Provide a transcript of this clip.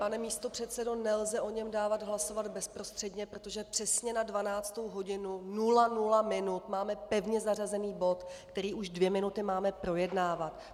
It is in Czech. Pane místopředsedo, nelze o něm dávat hlasovat bezprostředně, protože přesně na 12. hodinu 00 minut máme pevně zařazený bod, který už dvě minuty máme projednávat.